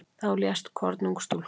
Þá lést kornung stúlka.